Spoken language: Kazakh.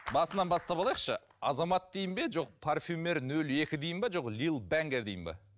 басынан бастап алайықшы азамат дейін бе жоқ парфюмер ноль екі дейін бе жоқ лил дангер дейін бе